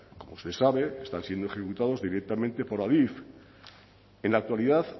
como usted sabe están siendo ejecutados directamente por adif en la actualidad